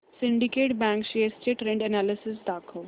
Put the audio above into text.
Syndicate bank shares चे trend analysis दाखव